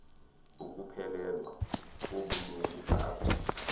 ukuphelelwa kobulungu bakho